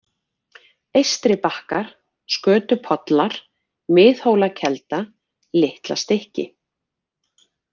Eystribakkar, Skötupollar, Miðhólakelda, Litlastykki